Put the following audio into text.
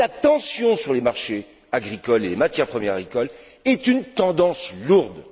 Donc, la tension sur les marchés agricoles et les matières premières agricoles est une tendance lourde.